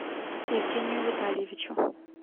евгению витальевичу